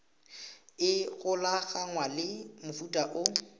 e golaganngwang le mofuta o